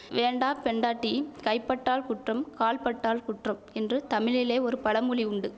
வேண்டாப் பெண்டாட்டி கைபட்டால் குற்றம் கால்பட்டால் குற்றம் என்று தமிழிலே ஒரு பழமொழி உண்டு